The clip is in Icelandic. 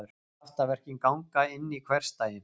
Kraftaverkin ganga inn í hversdaginn.